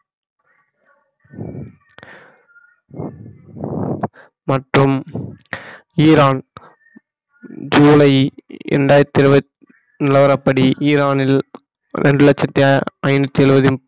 மற்றும் ஈரான் ஜூலை இரண்டாயிரத்து நிலவரப்படி ஈரானில் இரண்டு லட்சத்தி அஹ் ஐநூத்தி எழுபதின்